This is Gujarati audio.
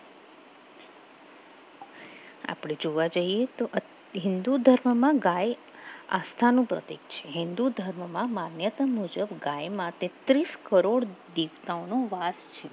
આપણે જોવા જઈએ તો હિન્દુ ધર્મમાં આસ્થાનું પ્રતીક છે હિન્દુ ધર્મમાં માન્યતા મુજબ ગાય માટે ત્રીસ કરોડ દેવતાનો વાસ છે